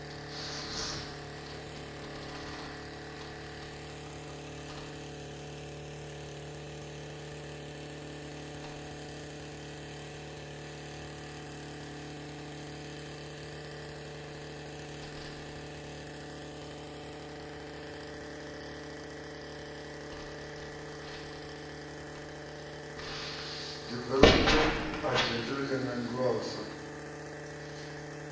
development idt yo nangiwa sa